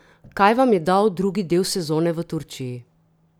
Kaj vam je dal drugi del sezone v Turčiji?